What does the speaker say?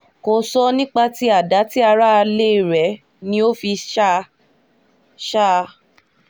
kò sọ nípa tí àdá ti aráalé rẹ̀ ni ó fi ṣá a ṣá a